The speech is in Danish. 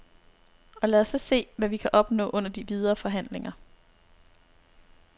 Og lad os så se, hvad vi kan opnå under de videre forhandlinger.